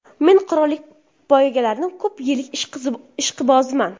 Men qirollik poygalarining ko‘p yillik ishqiboziman.